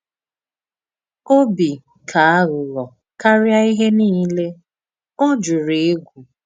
Òbì kà àghụ̀ghọ̀ káríà íhè niile, ọ jùrù ègwù.